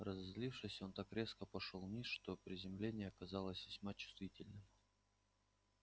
разозлившись он так резко пошёл вниз что приземление оказалось весьма чувствительным